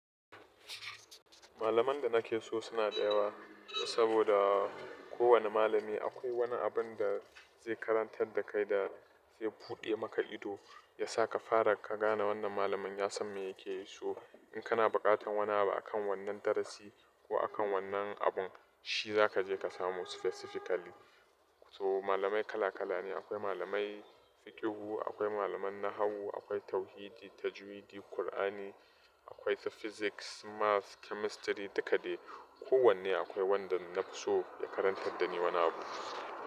Malaman da nake so suna da yawa, saboda kowane malami akwai wani abin da zai karantar da kai da zai buɗe maka ido, ya sa ka fara ka gane wannan malamin ya san me yake yi. So in kana buƙatar wani abu akan wannan darasi ko akan wannan abun, shi za ka je ka samu specifically. So malamai kala kala ne. Akwai malamai fiqhu, akwai malaman nahawu, akwai tauhidi, tajwidi, Kur'ani, akwai physics, maths, chemistry, dukka dai. Kowanne akwai wanda na so ya karantar da ni wani abu.